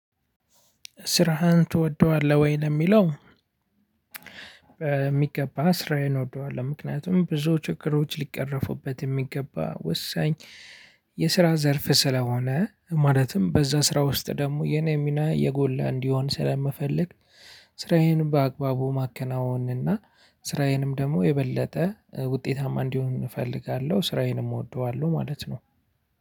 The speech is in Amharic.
ስራህን ትወደዋለህ ወይ? ለሚለው በሚገባ ስራዬን እወደዋለሁ ምክንያቱም ብዙ ችግሮች ሊቀረፉበት የሚገባ ወሳኝ የስራ ዘርፍ ስለሆነ። ማለትም በዛ ስራ ውስጥ ደግሞ የኔ ሚና የጎላ እንዲሆን ስለምፈልግ። ስራዬን በአግባቡ ማከናወን እና ስራዬንም ደግሞ የበለጠ ውጤታም እንዲሆን እፈልጋለሁ ስራየንም እወደዋለሁ ማለት ነው።